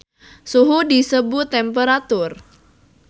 Suhu disebut temperatur